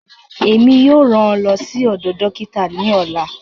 Èmi yóò ràn ọ ló sì odò dókítà ní ọlá